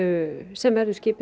sem verður skipuð